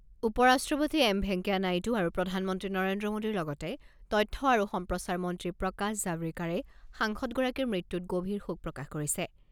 উপ ৰাষ্ট্ৰপতি এম ভেংকায়া নাইডু আৰু প্ৰধানমন্ত্ৰী নৰেন্দ্ৰ মোদীৰ লগতে তথ্য আৰু সম্প্ৰচাৰ মন্ত্ৰী প্ৰকাশ জাভ্ৰেকাৰে সাংসদগৰাকীৰ মৃত্যুত গভীৰ শোক প্ৰকাশ কৰিছে।